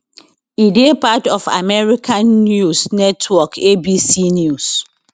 e dey part of american news network abc news